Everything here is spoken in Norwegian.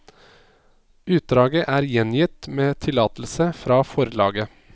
Utdraget er gjengitt med tillatelse fra forlaget.